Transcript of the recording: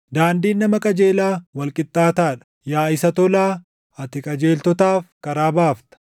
Daandiin nama qajeelaa wal qixxaataa dha; yaa Isa Tolaa, ati qajeeltotaaf karaa baafta.